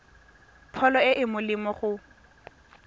pholo e e molemo go